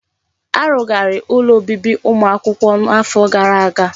Arugharị ụlọ obibi ụmụ akwụkwọ n'afọ gara aga.